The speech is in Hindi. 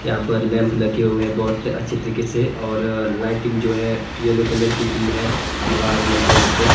यहा पर लैंप लगे हुए बहुत अच्छे तरीके से और लाइटिंग जो है येलो कलर की की है दीवार मे जो है ऊपर--